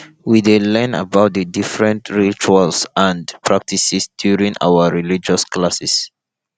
we dey learn about the different rituals and practices during our religious classes